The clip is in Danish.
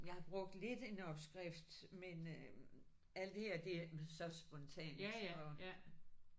Jeg har brugt lidt en opskrift men øh alt det her det er så spontant efterhånden